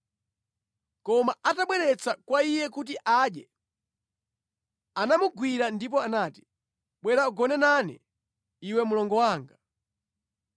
Koma atabweretsa kwa iye kuti adye, anamugwira ndipo anati, “Bwera ugone nane, iwe mlongo wanga.”